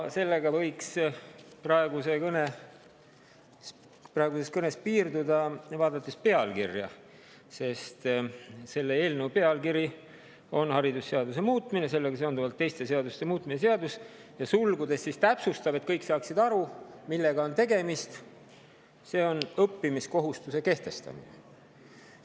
Sellega võiks praeguses kõnes piirduda, vaadates pealkirja, sest see on " haridusseaduse muutmise ja sellega seonduvalt teiste seaduste muutmise seadus", ja sulgudes täpsustatakse – et kõik saaksid aru, millega on tegemist –, et see on õppimiskohustuse kehtestamine.